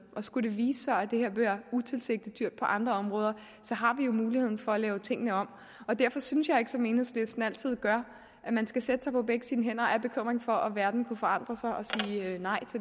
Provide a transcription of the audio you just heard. og skulle det vise sig at det her bliver utilsigtet dyrt på andre områder har vi jo muligheden for at lave tingene om og derfor synes jeg ikke som enhedslisten altid gør at man skal sætte sig på begge sine hænder af bekymring for at verden kunne forandre sig og sige nej